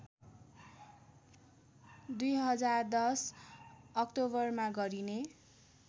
२०१० अक्टोबरमा गरिने